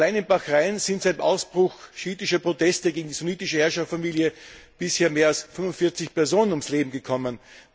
Allein in Bahrain sind beim Ausbruch schiitischer Proteste gegen die sunitische Herrscherfamilie bisher mehr als 45 Personen ums Leben gekommen.